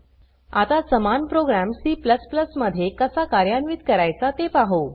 आता समान program C मध्ये कसा कार्यान्वित करायचा ते पाहु